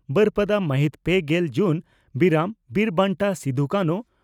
ᱵᱟᱹᱨᱯᱟᱫᱟ ᱢᱟᱹᱦᱤᱛ ᱯᱮᱜᱮᱞ ᱡᱩᱱ (ᱵᱤᱨᱟᱢ) ᱺ ᱵᱤᱨ ᱵᱟᱱᱴᱟ ᱥᱤᱫᱚᱼᱠᱟᱱᱦᱩ